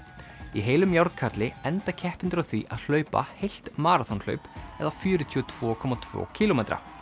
í heilum enda keppendur á því að hlaupa heilt maraþonhlaup eða fjörutíu og tvö komma tveggja kílómetra